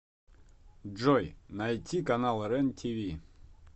джой найти канал рен тиви